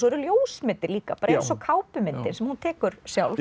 eru ljósmyndir líka bara eins og kápumyndir sem hún tekur sjálf